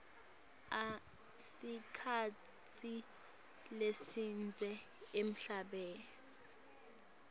sikhatsi lesidze emhlabeni